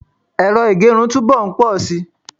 ero igerun tu bo nposi